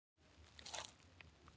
Er ég ennþá mikilvægur hérna?